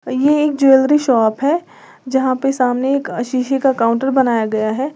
ये एक jewellery shop है जहां पर सामने एक शीशे का काउंटर बनाया गया है।